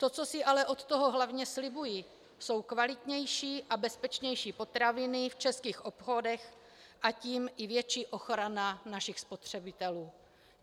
To, co si ale od toho hlavně slibuji, jsou kvalitnější a bezpečnější potraviny v českých obchodech, a tím i větší ochrana našich spotřebitelů.